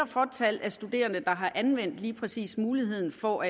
fåtal af studerende der har anvendt lige præcis muligheden for